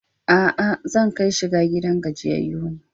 A'a, zan kai shiga gidan gajiyayyu ne.